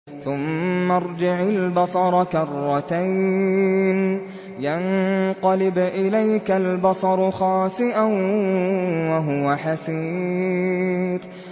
ثُمَّ ارْجِعِ الْبَصَرَ كَرَّتَيْنِ يَنقَلِبْ إِلَيْكَ الْبَصَرُ خَاسِئًا وَهُوَ حَسِيرٌ